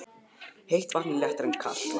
Heitt vatn er léttara en kalt vatn.